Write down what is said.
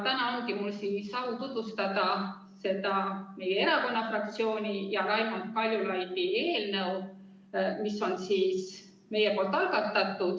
Täna ongi mul au tutvustada meie erakonna fraktsiooni ja Raimond Kaljulaidi algatatud eelnõu.